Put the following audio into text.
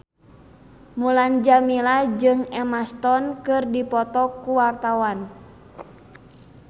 Mulan Jameela jeung Emma Stone keur dipoto ku wartawan